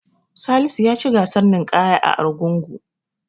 Salisu ya ci gasar ninƙayar a Argungu.